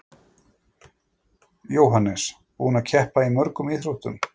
Jóhannes: Búinn að keppa í mörgum íþróttum?